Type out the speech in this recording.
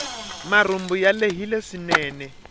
marhumbu ya lehile swinene